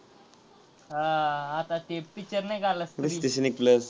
हा आता ते picture नाही का आला.